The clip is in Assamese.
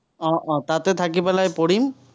আহ আহ তাতে থাকি পেলাই পঢ়িম।